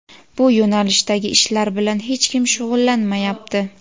bu yo‘nalishdagi ishlar bilan hech kim shug‘ullanmayapti.